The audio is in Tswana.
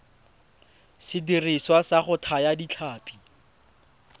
sediriswa sa go thaya ditlhapi